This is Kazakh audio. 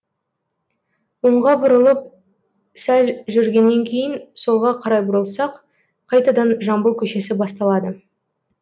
оңға бұрылып сәл жүргеннен кейін солға қарай бұрылсақ қайтадан жамбыл көшесі басталады